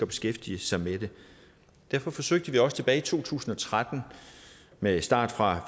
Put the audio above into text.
beskæftige sig med det derfor forsøgte vi også tilbage i to tusind og tretten med start fra